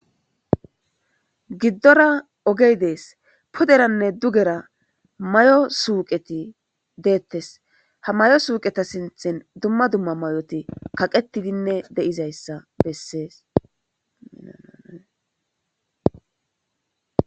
Gidora ogey des piderane dugera mayo suqe detes ha mayo suqeta sintara duma duma mayoti kaqetidine de'izaysa beses.